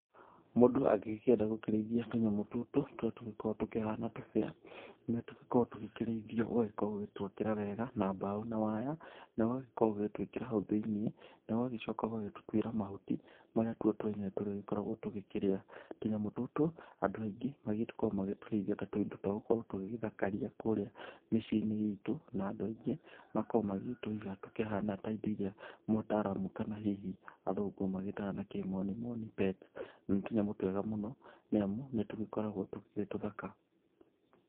Mũndũ angĩgĩkĩenda gũkĩrĩithia tũnyamũ tũtũ tũrĩa tũgĩkoragwo tũkĩhana tũbĩa, nĩtũgĩkoragwo tũgĩkĩrĩithio, ũgagĩkorwo ũgĩtwakĩra wega, na mbaũ na waya, na ũgagĩkorwo ũgĩgĩtwĩkĩra hau thĩiniĩ, na ũgagĩcoka ũgagĩtũtuĩra mahuti marĩa tuo twenyewe tũrĩgĩkoragwo tũgĩkĩrĩa. Tũnyamũ tũtũ, andũ aingĩ magĩkoragwo magĩgĩtũrĩithia ta tũindo twagũgĩkorwo tũgĩgĩthakaria kũrĩa mĩciũ-inĩ itũ, na andũ aingĩ makoragwo magĩgĩtũiga tũkĩhana ta indo iria mũtaramu kana hihi athũngũ magĩtaga na kĩmonimoni pets Nĩ tũnyamũ twega mũno nĩamu nĩtũgĩkoragwo twĩtũthaka.